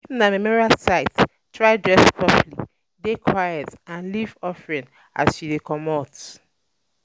If um na memorial site try dress properly, de quite and leave offering as you de comot